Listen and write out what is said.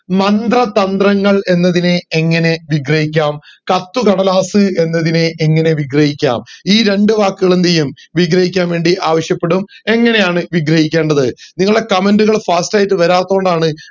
മന്ത്രതത്രങ്ങങ്ങൾ എന്നതിനെ എങ്ങെനെ വിഗ്രഹിക്കാം കത്തുകടലാസ് എന്നതിനെ എങ്ങനെ വിഗ്രഹിക്കാം ഈ രണ്ട് വാക്കുകൾ എന്ത് ചെയ്യും വിഗ്രഹിക്കാൻ വേണ്ടി ആവിശപ്പെടും എങ്ങനെയാണു വിഗ്രഹിക്കേണ്ടത് നിങ്ങളെ comment കൽ fast ആയിട്ട് വരാതൊണ്ടാണ്